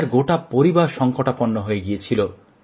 এঁর গোটা পরিবার সংকটাপন্ন হয়ে গিয়েছিল